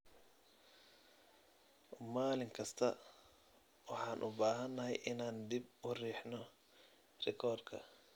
Maalin kasta waxaan u baahanahay inaan dib u riixno rikoorka.